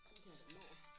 Sådan kan jeg da nå